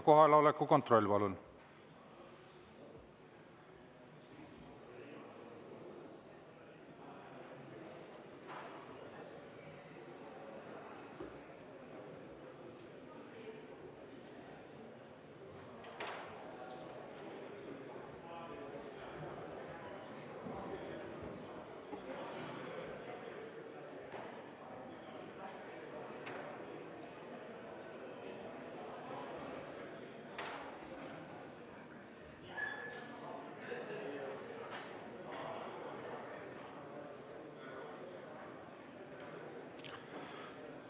Kohaloleku kontroll, palun!